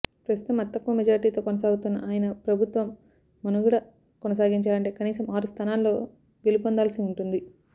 ప్రస్తుతం అతితక్కువ మెజార్టీతో కొనసాగుతున్న ఆయన ప్రభుత్వం మనుగడ కొనసాగించాలంటే కనీసం ఆరు స్థానాల్లో గెలుపొందాల్సి ఉంటుంది